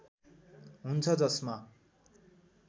हुन्छ जसमा